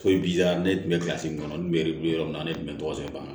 Foyi b'i la ne tun bɛ min kɔnɔ n kun bɛ yɔrɔ min na ne tun bɛ tɔgɔ sɛbɛ